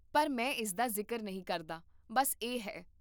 ਪਰ ਮੈਂ ਇਸ ਦਾ ਜ਼ਿਕਰ ਨਹੀਂ ਕਰਦਾ, ਬੱਸ ਇਹ ਹੈ